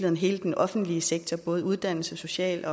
om hele den offentlige sektor både uddannelses social